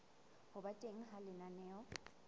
ho ba teng ha lenaneo